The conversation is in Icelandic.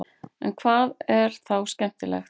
en hvað er þá skemmtilegt